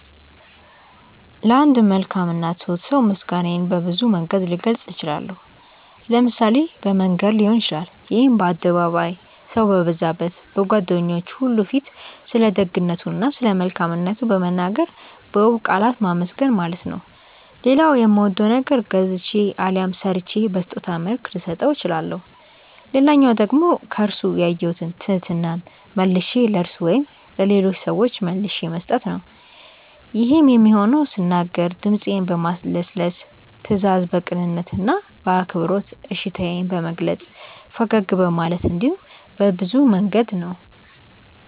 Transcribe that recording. ለአንድ መልካም እና ትሁት ሰው ምስጋናዬን በብዙ መንገድ ልገልጽ እችላለሁ። ለምሳሌ በመንገር ሊሆን ይችላል ይሄም በአደባባይ፣ ሰው በበዛበት፣ በጓደኞቹ ሁሉ ፊት ስለደግነቱ እና ስለመልካምነቱ በመናገር በውብ ቃላት ማመስገን ማለት ነው። ሌላው የሚወደውን ነገር ገዝቼ አሊያም ሰርቼ በስጦታ መልክ ልሰጠው እችላለሁ። ሌላኛው መንገድ ደግሞ ከርሱ ያየሁትን ትህትና መልሼ ለርሱ ወይም ለሌሎች ሰዎች መልሼ መስጠት ነው። ይሄም የሚሆነው ስናገር ድምጼን በማለስለስ፤ ስታዘዝ በቅንነት እና በአክብሮት እሺታዬን በመግለጽ፤ ፈገግ በማለት እንዲሁም በብዙ መንገድ ነው።